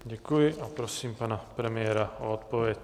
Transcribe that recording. Děkuji a prosím pana premiéra o odpověď.